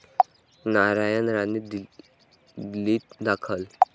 नारायण राणे दिल्लीत दाखल